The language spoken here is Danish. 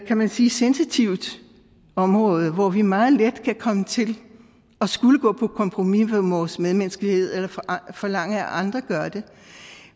kan man sige sensitivt område hvor vi meget let kan komme til at skulle gå på kompromis med vores medmenneskelighed eller forlange at andre gør det